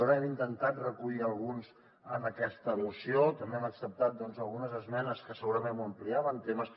n’hem intentat recollir alguns en aquesta moció també hem acceptat algunes esmenes que segurament ho ampliaven temes